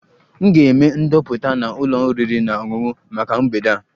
M ga-eme ndoputa na ụlọ oriri na ọṅụṅụ maka mgbede a